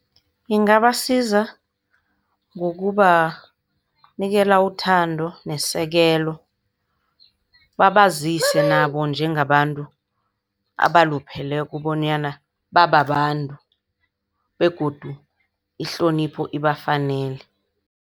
Ingabasiza ngokubanikela uthando nesekelo. Babazise nabo njengabantu abalupheleko bonyana bababantu begodu ihlonipho ibafanele.